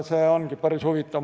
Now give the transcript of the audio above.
See on päris huvitav.